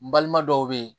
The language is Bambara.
N balima dɔw be ye